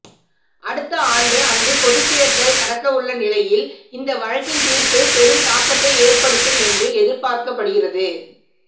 அடுத்த ஆண்டு அங்கு பொதுத்தேர்தல் நடக்கவுள்ள நிலையில் இந்த வழக்கின் தீர்ப்பு பெரும் தாக்கத்தை ஏற்படுத்தும் என்று எதிர்பார்க்கப்படுகிறது